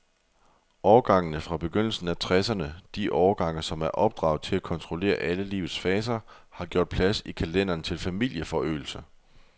Årgangene fra begyndelsen af tresserne, de årgange, som er opdraget til at kontrollere alle livets faser, har gjort plads i kalenderen til familieforøgelse.